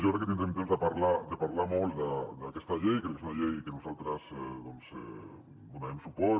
jo crec que tindrem temps de parlar molt d’aquesta llei crec que és una llei que nosaltres hi donarem suport